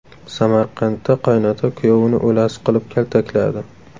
Samarqandda qaynota kuyovini o‘lasi qilib kaltakladi.